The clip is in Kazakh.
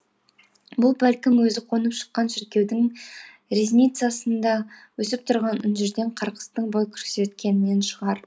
бұл бәлкім өзі қонып шыққан шіркеудің ризницасында өсіп тұрған інжірден қарғыстың бой көрсеткенінен шығар